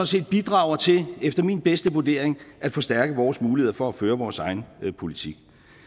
set bidrager til efter min bedste vurdering at forstærke vores muligheder for at føre vores egen politik